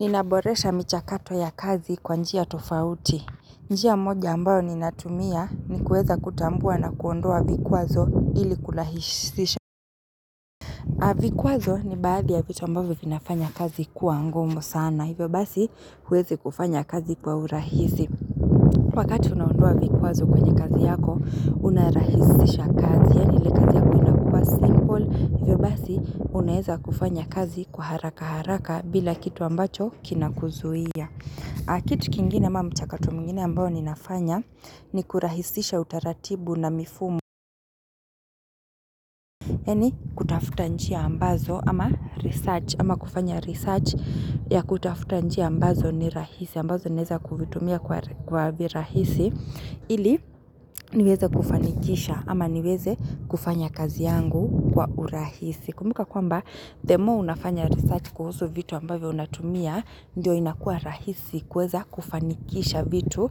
Ninaboresha michakato ya kazi kwa njia tofauti. Njia moja ambayo ninatumia ni kuweza kutambua na kuondoa vikwazo ili kulahisisha. A vikwazo ni baadhi ya vitu ambavyo vinafanya kazi kuwa ngumu sana. Hivyo basi huwezi kufanya kazi kwa urahisi. Wakati unaondoa vikwazo kwenye kazi yako unarahisisha kazi. Yaani ile kazi yako inakuwa simple. Hivyo basi unaeza kufanya kazi kwa haraka haraka bila kitu ambacho kinakuzuia. Kitu kingine ama mchakato mwingine ambayo ninafanya ni kurahisisha utaratibu na mifumo. Yaani kutafuta njia ambazo ama research. Ama kufanya research ya kutafuta njia ambazo ni rahisi. Ambazo naeza kuvitumia kwa virahisi. Ili niweze kufanikisha ama niweze kufanya kazi yangu kwa urahisi. Kumbka kwamba the more unafanya research kuhusu vitu ambayo unatumia, ndiyo inakuwa rahisi kuweza kufanikisha vitu.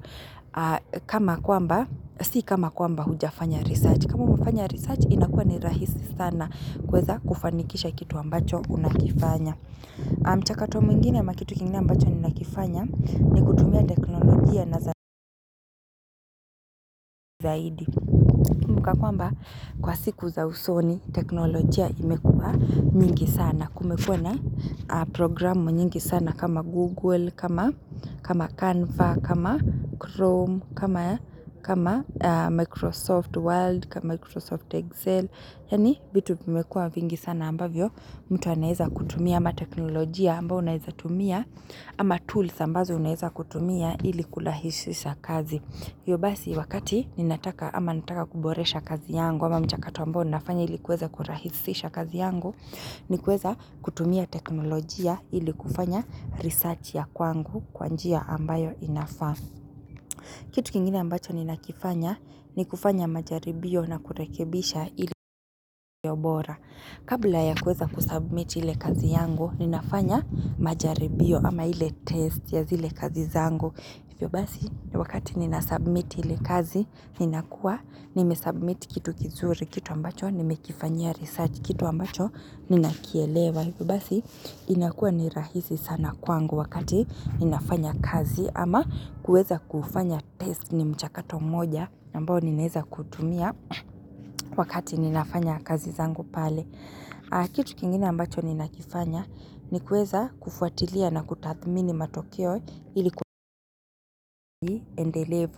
Kama kwamba, si kama kwamba hujafanya research. Kama umefanya research inakuwa ni rahisi sana kuweza kufanikisha kitu ambacho unakifanya. Mchakato mwingine ama kitu kingine ambacho ninakifanya ni kutumia teknolojia na zaidi. Kumbuka kwamba kwa siku za usoni teknolojia imekuwa mingi sana. Kumekuwa na programu nyingi sana kama Google, kama Canva, kama Chrome, kama Microsoft Word, kama Microsoft Excel Yaani vitu vimekuwa vingi sana ambavyo mtu anaeza kutumia ama teknolojia ambayo unaeza tumia ama tools ambazo unaeza kutumia ili kurahishisha kazi Hivyo basi wakati ninataka, ama nataka kuboresha kazi yangu, ama mchakato ambao ninafanya ili kuweza kurahisisha kazi yangu, ni kuweza kutumia teknolojia ili kufanya research ya kwangu kwa njia ambayo inafaa. Kitu kingine ambacho ninakifanya, ni kufanya majaribio na kurekebisha ili bora. Kabla ya kuweza kusubmit ile kazi yangu, ninafanya majaribio ama ili test ya zile kazi zangu. Hivyo basi wakati ninasubmit ile kazi ninakuwa nimesubmit kitu kizuri, kitu ambacho nimekifanyia research, kitu ambacho ninakielewa. Hivyo basi inakuwa ni rahisi sana kwangu wakati ninafanya kazi ama kuweza kufanya test ni mchakato mmoja ambayo ninaeza kutumia wakati ninafanya kazi zangu pale. Kitu kingine ambacho ninakifanya ni kuweza kufuatilia na kutathmini matokeo ili ku endelevu.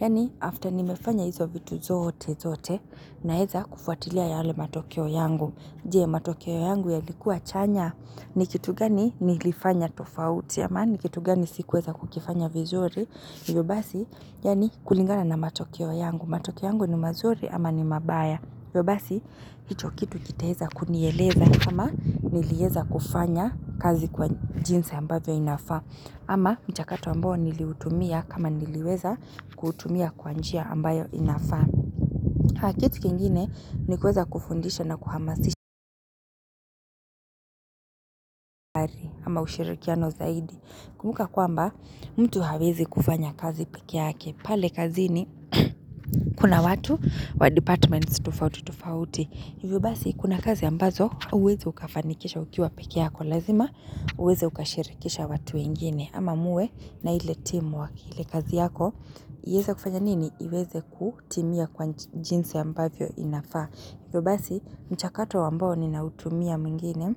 Yaani after nimefanya hizo vitu zote zote, naeza kufuatilia yale matokeo yangu. Je, matokeo yangu yalikuwa chanya? Ni kitu gani nilifanya tofauti ama ni kitu gani sikuweza kukifanya vizuri Hivyo basi yaani kulingana na matokeo yangu. Matokeo yangu ni mazuri ama ni mabaya. Hivyo basi, hicho kitu kitaeza kunieleza kama nilieza kufanya kazi kwa jinsi ambayo inafaa. Ama mchakato ambayo niliutumia kama niliweza kuutumia kwa njia ambayo inafaa. Kitu kingine ni kuweza kufundisha na kuhamasisha ama ushirikiano zaidi. Kumbuka kwamba, mtu hawezi kufanya kazi peke yake. Pale kazini, kuna watu wa departments tufauti tufauti. Hivyo basi, kuna kazi ambazo huwezi ukafanikishwa ukiwa peke yako lazima, uweze ukashirikisha watu wengine, ama muwe na ile teamwork. Ile kazi yako, ieze kufanya nini? Iweze kutimia kwa jinsi ambavyo inafaa. Hivyo basi, mchakato ambao ninautumia mwingine,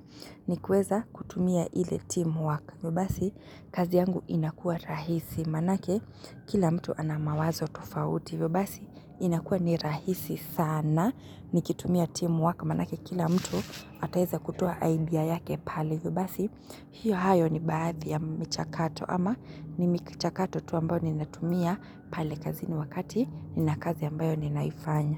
ni kuweza kutumia ile teamwork. Hivyo basi, kazi yangu inakuwa rahisi. Manake kila mtu ana mawazo tofauti. Hivyo basi inakuwa ni rahisi sana nikitumia teamwork manake kila mtu ataeza kutoa idea yake pale. Hivyo basi hiyo, hayo ni baadhi ya michakato. Ama ni michakato tu ambayo ninatumia pale kazini wakati nina kazi ambayo ninaifanya.